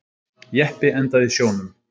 Jeppi endaði í sjónum